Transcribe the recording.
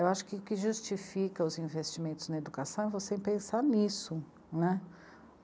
Eu acho que o que justifica os investimentos na educação é você pensar nisso, né.